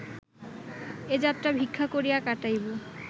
এ যাত্রা ভিক্ষা করিয়া কাটাইব